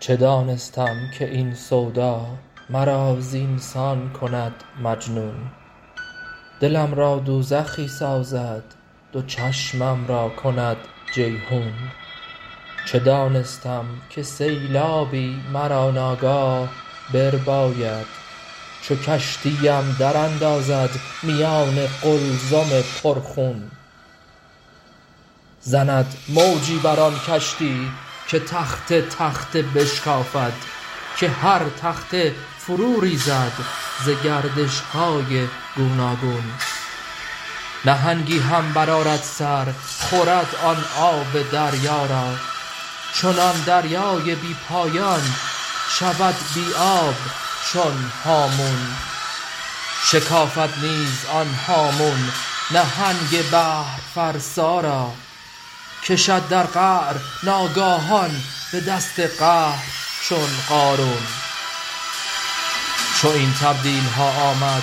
چه دانستم که این سودا مرا زین سان کند مجنون دلم را دوزخی سازد دو چشمم را کند جیحون چه دانستم که سیلابی مرا ناگاه برباید چو کشتی ام دراندازد میان قلزم پرخون زند موجی بر آن کشتی که تخته تخته بشکافد که هر تخته فروریزد ز گردش های گوناگون نهنگی هم برآرد سر خورد آن آب دریا را چنان دریای بی پایان شود بی آب چون هامون شکافد نیز آن هامون نهنگ بحرفرسا را کشد در قعر ناگاهان به دست قهر چون قارون چو این تبدیل ها آمد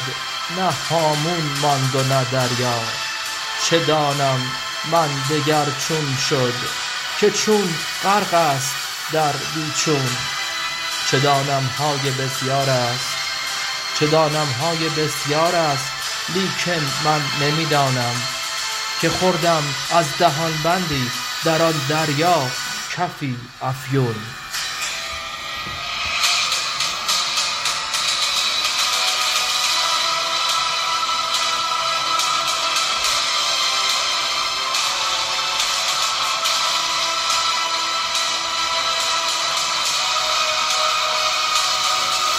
نه هامون ماند و نه دریا چه دانم من دگر چون شد که چون غرق است در بی چون چه دانم های بسیار است لیکن من نمی دانم که خوردم از دهان بندی در آن دریا کفی افیون